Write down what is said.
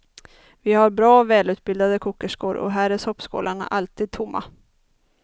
Vi har bra, välutbildade kokerskor och här är soppskålarna alltid tomma.